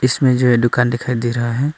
इसमें जो है दुकान दिखाई दे रहा है।